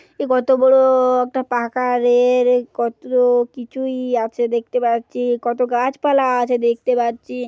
এ কত বড় একটা পাকারের কত কিছুই আছে দেখতে পাচ্ছি কত গাছপালা আছে দেখতে পাচ্ছি।